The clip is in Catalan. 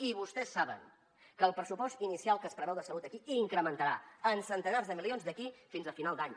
i vostès saben que el pressupost inicial que es preveu de salut aquí incrementarà en centenars de milions d’aquí fins a final d’any